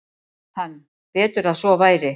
Hann: Betur að svo væri.